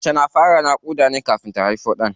Mace na fara yin naƙuda ne kafin ta haifo ɗan.